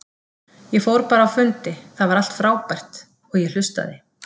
Ég fór bara á fundi, það var allt frábært, og ég hlustaði.